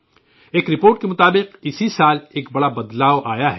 ایک رپورٹ کے مطابق اسی سال ایک بڑی تبدیلی رونما ہوئی ہے